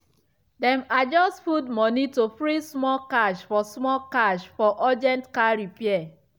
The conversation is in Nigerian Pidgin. dem adjust food money to free small cash for small cash for urgent car repair.